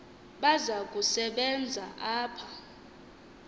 baza kusebenza apha